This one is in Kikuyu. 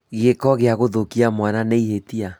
Gĩko gĩa gũthũkia mwana nĩ ihĩtia